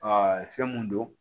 fɛn mun don